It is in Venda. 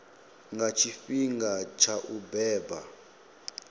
nga tshifhinga tsha u beba